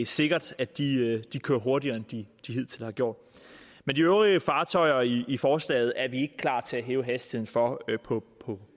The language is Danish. sikkert at de kører hurtigere end de hidtil har gjort men de øvrige fartøjer i i forslaget er vi ikke klar til at hæve hastigheden for på